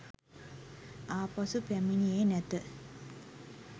ආපසු පැමිණියේ නැත.